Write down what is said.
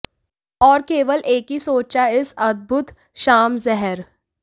और केवल एक ही सोचा इस अद्भुत शाम जहर